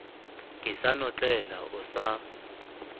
ke sa notlela o sa